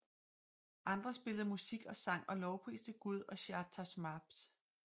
Andre spillede musik og sang og lovpriste Gud og Shāh Tahmāsp